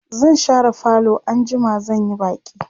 zan share falo anjima zan Yi baki